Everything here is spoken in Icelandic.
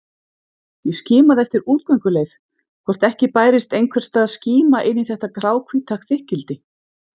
Ég skimaði eftir útgönguleið, hvort ekki bærist einhvers staðar skíma inn í þetta gráhvíta þykkildi.